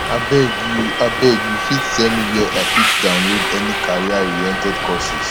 abeg you abeg you fit tell me where i fit download any careeroriented courses